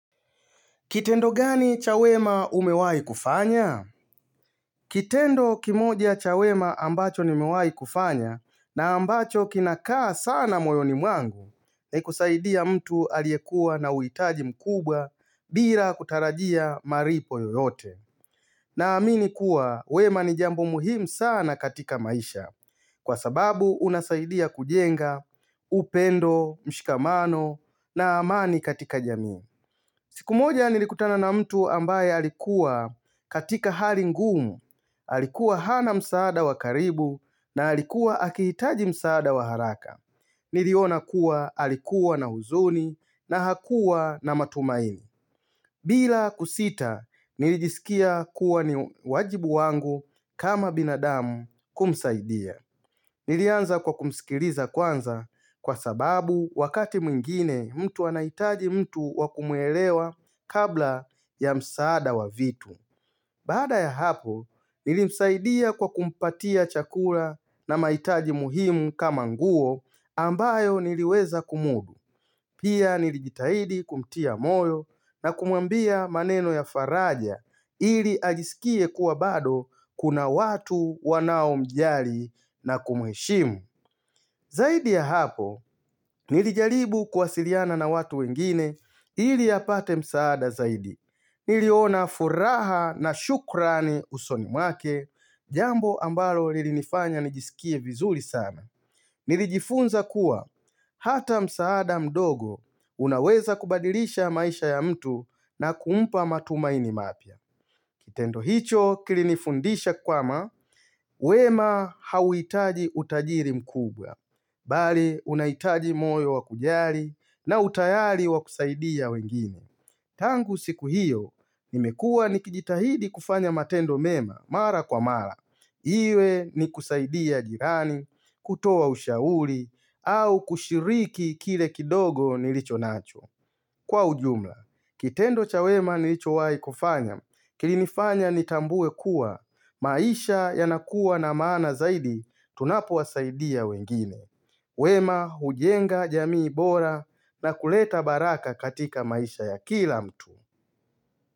Kitendo gani cha wema umewahi kufanya? Kitendo kimoja cha wema ambacho nimewahi kufanya na ambacho kinakaa sana moyoni mwangu ni kusaidia mtu aliyekuwa na uhitaji mkubwa bila kutarajia malipo yoyote. Na amini kuwa wema ni jambo muhimu sana katika maisha kwa sababu unasaidia kujenga, upendo, mshikamano na amani katika jamii. Siku moja nilikutana na mtu ambaye alikuwa katika hali ngumu, alikuwa hana msaada wakaribu na alikuwa akihitaji msaada waharaka. Niliona kuwa alikuwa na huzuni na hakuwa na matumaini. Bila kusita, nilijisikia kuwa ni wajibu wangu kama binadamu kumsaidia. Nilianza kwa kumsikiliza kwanza kwa sababu wakati mwingine mtu anahitaji mtu wakumuelewa kabla ya msaada wa vitu. Baada ya hapo, nilimsaidia kwa kumpatia chakula na mahitaji muhimu kama nguo ambayo niliweza kumudu. Pia nilijitahidi kumtia moyo na kumwambia maneno ya faraja ili ajisikie kuwa bado kuna watu wanao mjali na kumuheshimu. Zaidi ya hapo, nilijalibu kwasiliana na watu wengine ili apate msaada zaidi. Niliona furaha na shukrani usoni mwake jambo ambalo lilinifanya nijisikie vizuri sana. Nilijifunza kuwa hata msaada mdogo unaweza kubadilisha maisha ya mtu na kumpa matumaini mapya. Kitendo hicho kilinifundisha kwamba, wema hauitaji utajiri mkubwa. Bali, unahitaji moyo wakujali na utayali wakusaidia wengine. Tangu siku hiyo, nimekuwa nikijitahidi kufanya matendo mema mara kwa mara. Iwe ni kusaidia jirani, kutoa ushauri, au kushiriki kile kidogo nilicho nacho. Kwa ujumla, kitendo cha wema nilicho wai kufanya, kilinifanya nitambue kuwa, maisha ya nakuwa na maana zaidi, tunapowasaidia wengine. Wema hujenga jamii bora na kuleta baraka katika maisha ya kila mtu.